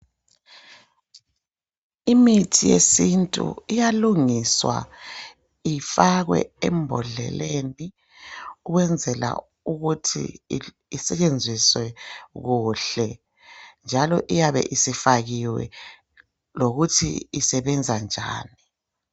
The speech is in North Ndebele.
Imithi yesintu iyalungiswa ifakwe embodleleni ,ukwenzela ukuthi isetshenziswe kuhle. Njalo iyabe isifakiwe lokuthi isebenza njani .